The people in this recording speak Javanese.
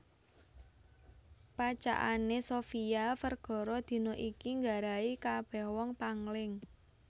Pacakane Sofia Vergara dina iki nggarai kabeh wong pangling